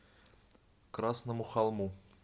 красному холму